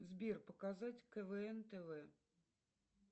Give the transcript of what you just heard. сбер показать квн тв